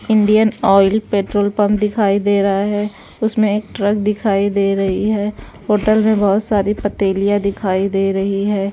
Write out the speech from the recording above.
Indian Oil petrol pump दिखाई दे रहा है उसमें एक ट्रक दिखाई दे रही है होटल में बहुत सारी पतेलियाँ दिखाई दे रही हैं।